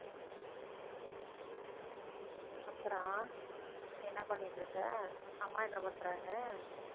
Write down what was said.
அப்புறம் என்ன பண்ணிட்டுருக்க அம்மா என்ன பண்றாங்க